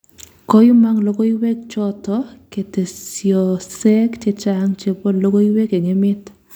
Koimang' logoiwek choto ketesyosek chechaang' chebo logoiywek eng' emeet